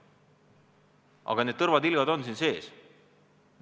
Aga need tõrvatilgad on siin sees.